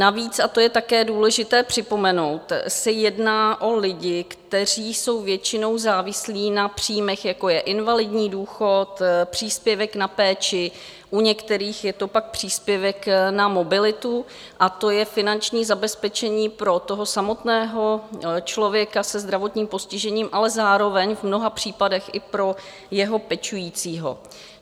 Navíc, a to je také důležité připomenout, se jedná o lidi, kteří jsou většinou závislí na příjmech, jako je invalidní důchod, příspěvek na péči, u některých je to pak příspěvek na mobilitu, a to je finanční zabezpečení pro toho samotného člověka se zdravotním postižením, ale zároveň v mnoha případech i pro jeho pečujícího.